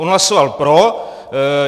On hlasoval pro.